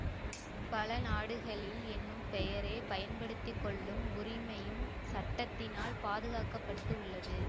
பல நாடுகளில் என்னும் பெயரை பயன்படுத்திக்கொள்ளும் உரிமையும் சட்டத்தினால் பாதுகாக்க பட்டு உள்ளது